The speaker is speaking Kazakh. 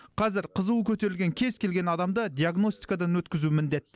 қазір қызуы көтерілген кез келген адамды диагностикадан өткізу міндет